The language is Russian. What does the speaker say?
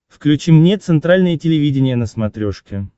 включи мне центральное телевидение на смотрешке